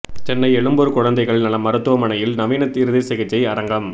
சென்னை எழும்பூர் குழந்தைகள் நல மருத்துவமனையில் நவீன இருதய சிகிச்சை அரங்கம்